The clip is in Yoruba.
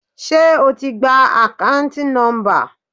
Ṣé o ti gba akanti nomba.